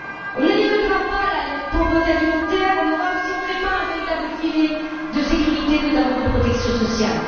On n'éliminera pas la pauvreté alimentaire en Europe si on ne crée pas un véritable filet de sécurité, notamment en matière de protection sociale.